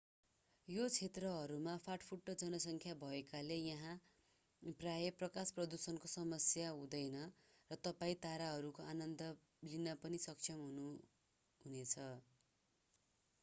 यी क्षेत्रहरूमा फाट्टफुट्ट जनसंख्या भएकाले यहाँ प्रायः प्रकाश प्रदूषणको समस्या हुँदैन र तपाईं ताराहरूको आनन्द लिन पनि सक्षम हुनुहुनेछ